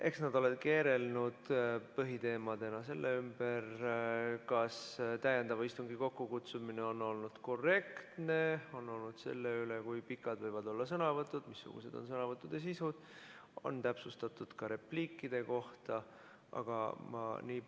Eks nad ole keerelnud põhiteemadena selle ümber, kas täiendava istungi kokkukutsumine on olnud korrektne, kui pikad võivad olla sõnavõtud, missugune on sõnavõttude sisu, on täpsustatud ka repliikide kohta jne.